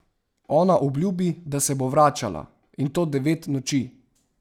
Ona obljubi, da se bo vračala, in to devet noči.